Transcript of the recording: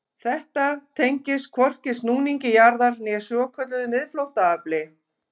Þetta tengist hvorki snúningi jarðar né svokölluðu miðflóttaafli.